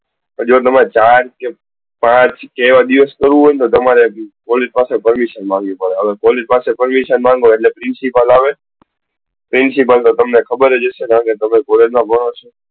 જો તમારે ચાર કે પાંચ આવા દિવસ માટે કરવું હોય તો તમારે police પાસે permission માંગવી પડે અને police permission માંગો એટલે principal આવે અને principal તો તમને ખબર જ હશે તમે college માં ભણો છો.